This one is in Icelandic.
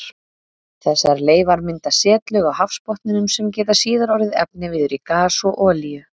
Þessar leifar mynda setlög á hafsbotninum sem geta síðar orðið efniviður í gas og olíu.